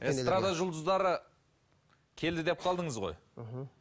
эстрада жұлдыздары келді деп қалдыңыз ғой мхм